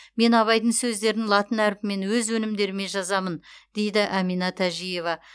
мен абайдың сөздерін латын әрпімен өз өнімдеріме жазамын дейді әмина тәжиева